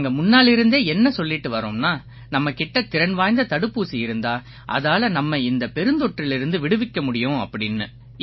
நாங்க முன்னாலிருந்தே என்ன சொல்லிட்டு வர்றோம்னா நம்ம கிட்ட திறன் வாய்ந்த தடுப்பூசி இருந்தா அதால நம்மை இந்தப் பெருந்தொற்றிலிருந்து விடுவிக்க முடியும் அப்படீன்னு